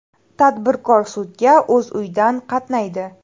Tadbirkor sudga o‘z uyidan qatnaydi.